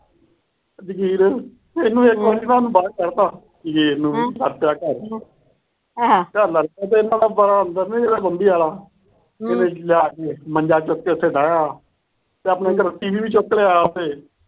ਜਗੀਰ, ਇਕ ਵਾਰ ਨਾ ਜਗੀਰ ਨੂੰ ਬਾਹਰ ਕੱਢਤਾ ਜਗੀਰ ਨੂੰ। ਇਹਨੇ ਲਿਆ ਕੇ ਮੰਜਾ ਚੁੱਕ ਕੇ ਉਥੇ ਡਾਹਿਆ ਤੇ ਆਪਣੇ ਘਰੋਂ ਟੀ. ਵੀ. ਵੀ ਚੁੱਕ ਲਿਆਇਆ ਉੱਥੇ।